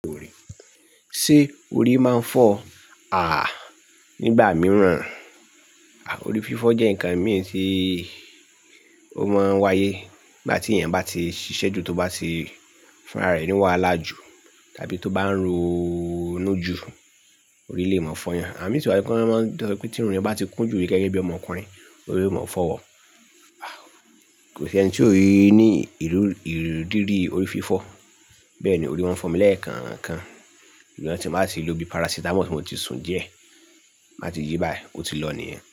Ṣé orí máa ń fọ́ à á nígbà mìíràn? À, orí fífọ́ jẹ́ nǹkan mìí tí ó máa ń wáyé nígbà tí èèyàn bá ti ṣiṣẹ́ ju, tó bá ti fúnra rẹ̀ ní wahala jú tàbí tó bá ń ronú jù, orí lè máa fọyan. À mí sì wà nítorí pé tí irun rẹ bá ti kún jù rí gẹ́gẹ́ bí ọmọkùnrin, orí yóò máa fọ́ wọ. À, kò sí ẹni tí ò rí ní ìrírí orí fífọ́. Bẹ́ẹ̀ ni orí máa ń fọ́ mi lẹ́ẹ̀kankan, ìgbà tí mo bá ti lo bí parasitamọ́ọ̀sì mo ti sun díẹ̀, má ti jí báì, ó ti lọ nìyẹn.